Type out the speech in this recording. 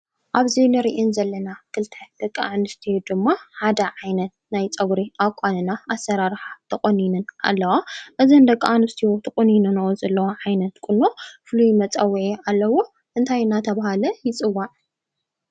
ኣብዚ ንሪአን ዘለና ክልተ ደቂ ኣንስትዮ ድማ ሓደ ዓይነት ናይ ፀጉሪ ኣቋንና ኣሰራርሓ ተቆኒነን ኣለዋ። እዘን ደቂ ኣንስትዮ ተቆኒነንኦ ዘለዋ ዓይነት ቁኖ ፍሉይ መፀውዒ ኣለዎ። እንታይ እንዳተብሃለ ይፅዋዕ?